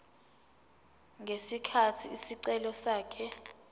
ngesikhathi isicelo sakhe